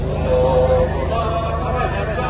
Allahüəkbər! Allahüəkbər!